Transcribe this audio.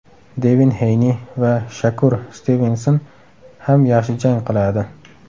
Devin Heyni va Shakur Stivenson ham yaxshi jang qiladi.